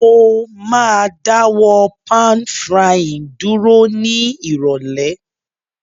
Mo ma dáwó pan-frying dúró ni ìrọ̀lẹ́